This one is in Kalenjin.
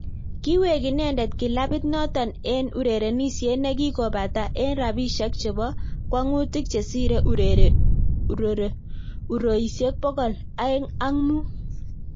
Kiwek inendet kilapiit notok eng urerenisiet nekikopataa eng rapisiek chepo kwang'utik chesiree uroisiek pokol aenge ak muut